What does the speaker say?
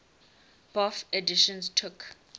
bofh editions took